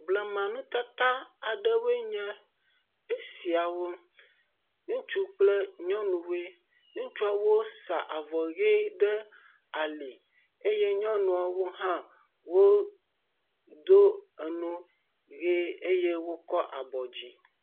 Blema nutata aɖewoe nye esiawo, ŋutsu kple nyɔnuwoe, ŋutsuwo saa vɔ ʋe aɖe ali eye nyɔnuawo hã wodo enu ʋe eye wokɔ abɔ dzi.